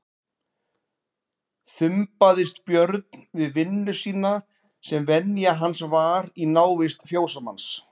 Þumbaðist Björn við vinnu sína sem venja hans var í návist fjósamanns.